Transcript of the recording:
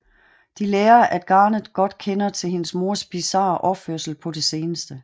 De lærer at Garnet godt kender til hendes mors bisarre opførsel på det seneste